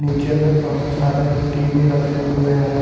नीचे में बहोत सारे टी_वी रखे हुए हैं।